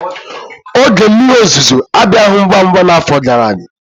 Oge mmiri ozuzo abịaghị ngwa ngwa n'afọ gara aga.